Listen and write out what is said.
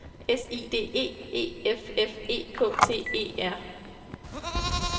S I D E E F F E K T E R